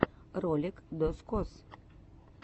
ролик дозкоз